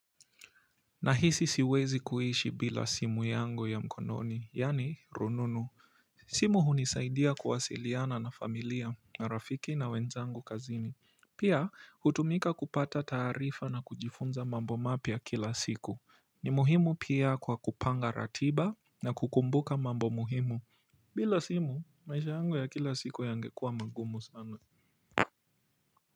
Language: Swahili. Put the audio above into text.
Na hisi siwezi kuishi bila simu yangu ya mkononi yani rununu simu hunisaidia kuwasiliana na familia na rafiki na wenzangu kazini pia hutumika kupata taarifa na kujifunza mambo mapya kila siku ni muhimu pia kwa kupanga ratiba na kukumbuka mambo muhimu bila simu maisha yangu ya kila siku yangekua magumu sana kwa hivyo.